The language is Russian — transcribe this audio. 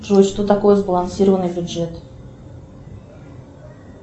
джой что такое сбалансированный бюджет